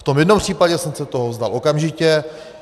V tom jednom případě jsem se toho vzdal okamžitě.